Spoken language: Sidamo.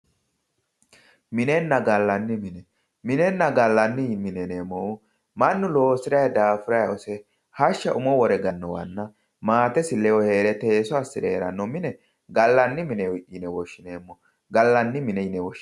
minenna gallanni mine, minenna gallanni mine yineemmohu mannu loosi'ra daafuray hose hashsha umo wore gala manna maatesi ledo hee're teesso assi're hee'ranno mine gallanni mine woshineemmo